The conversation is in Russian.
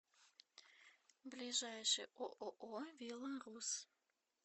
ближайший ооо вило рус